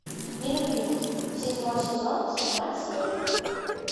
нелюбимый седьмой сезон седьмая серия